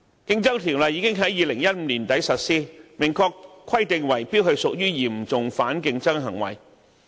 《競爭條例》已於2015年年底實施，明確規定圍標屬於"嚴重反競爭行為"。